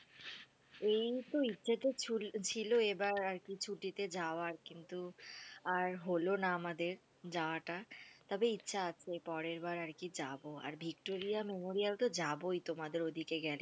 এইতো ইচ্ছে তো ছিল এইবার আরকি ছুটিতে যাবার কিন্তু আর হল না আমাদের যাওয়াটা তবে, ইচ্ছে আছে পরের বার আরকি যাবো আর ভিক্টোরিয়া মেমোরিয়াল তো যাবোই তোমাদের ওদিকে গেলে।